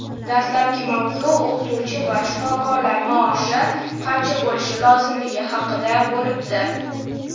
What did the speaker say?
Dastlabki mavzu o‘qituvchi va shifokorlar maoshi qancha bo‘lishi lozimligi haqida bo‘libdi.